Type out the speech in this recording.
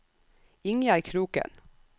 Ingjerd Kroken